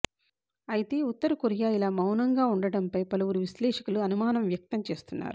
అయితే ఉత్తర కొరియా ఇలా మౌనంగా ఉండటంపై పలువురు విశ్లేషకులు అనుమానం వ్యక్తం చేస్తున్నారు